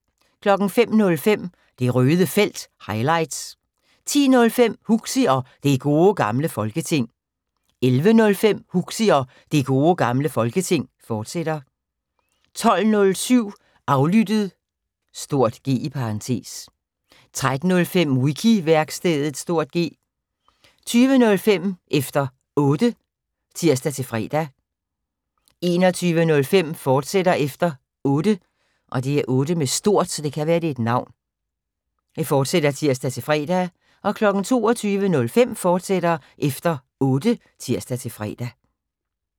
05:05: Det Røde Felt – highlights 10:05: Huxi og Det Gode Gamle Folketing 11:05: Huxi og Det Gode Gamle Folketing, fortsat 12:07: Aflyttet (G) 13:05: Wiki-værkstedet (G) 20:05: Efter Otte (tir-fre) 21:05: Efter Otte, fortsat (tir-fre) 22:05: Efter Otte, fortsat (tir-fre)